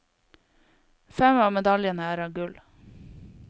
Fem av medaljene er av gull.